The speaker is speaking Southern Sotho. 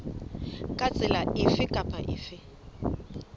ka tsela efe kapa efe